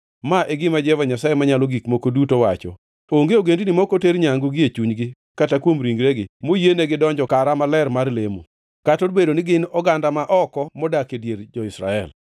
Ma e gima Jehova Nyasaye Manyalo Gik Moko Duto wacho: Onge ogendini ma ok oter nyangu gie chunygi kata kuom ringregi moyie negidonjo kara maler mar lemo, kata obed ni gin oganda ma oko modak e dier jo-Israel.